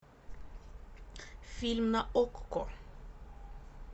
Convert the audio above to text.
фильм на окко